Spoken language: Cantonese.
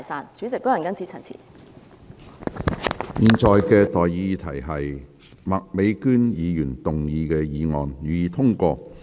我現在向各位提出的待議議題是：麥美娟議員動議的議案，予以通過。